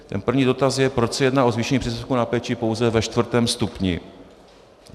Ten první dotaz je, proč se jedná o zvýšení příspěvku na péči pouze ve čtvrtém stupni.